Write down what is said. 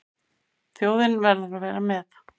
Þjóðin verði að vera með.